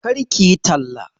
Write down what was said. Kar kiyi talla